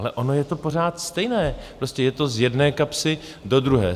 Ale ono je to pořád stejné, prostě je to z jedné kapsy do druhé.